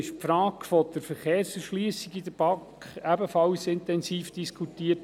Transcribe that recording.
Die Frage der Verkehrserschliessung wurde in der BaK ebenfalls intensiv diskutiert.